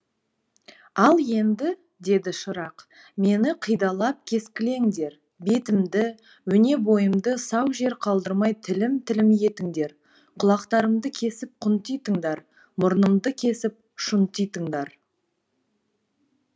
ал енді деді шырақ мені қидалап кескілеңдер бетімді өне бойымды сау жер қалдырмай тілім тілім етіңдер құлақтарымды кесіп құнтитыңдар мұрнымды кесіп шұнтитыңдар